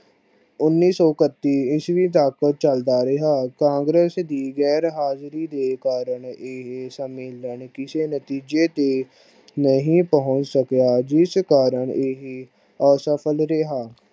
ਉਨੀ ਸੋ ਇੱਕਤੀ ਈਸਵੀ ਤੱਕ ਚੱਲਦਾ ਰਿਹਾ। ਕਾਂਗਰਸ ਦੀ ਗੈਰ ਹਾਜਰੀ ਦੇ ਕਾਰਨ ਇਹ ਸੰਮੇਲਨ ਕਿਸੇ ਨਤੇਜੇ ਤੇ ਨਹੀਂ ਪਹੁੰਚ ਸਕਿਆ ਜਿਸ ਕਾਰਨ ਇਹ ਅਸ਼ਫਲ ਰਿਹਾ।